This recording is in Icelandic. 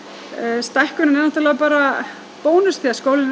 stækkunin er náttúrlega bara bónus því að skólinn er